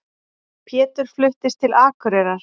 Pétur fluttist til Akureyrar.